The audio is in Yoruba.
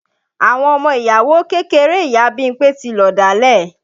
Àwọn ọmọ ìyàwó kékeré ìyá Bímpé tí lọ̀dálẹ̀